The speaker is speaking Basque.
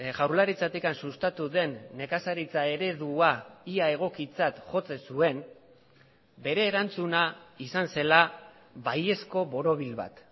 jaurlaritzatik sustatu den nekazaritza eredua ia egokitzat jotzen zuen bere erantzuna izan zela baiezko borobil bat